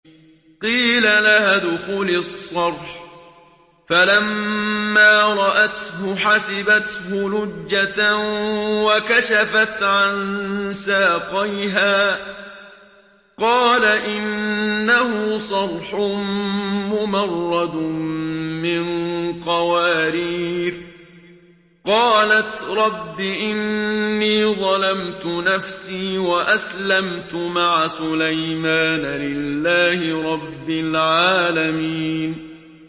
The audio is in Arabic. قِيلَ لَهَا ادْخُلِي الصَّرْحَ ۖ فَلَمَّا رَأَتْهُ حَسِبَتْهُ لُجَّةً وَكَشَفَتْ عَن سَاقَيْهَا ۚ قَالَ إِنَّهُ صَرْحٌ مُّمَرَّدٌ مِّن قَوَارِيرَ ۗ قَالَتْ رَبِّ إِنِّي ظَلَمْتُ نَفْسِي وَأَسْلَمْتُ مَعَ سُلَيْمَانَ لِلَّهِ رَبِّ الْعَالَمِينَ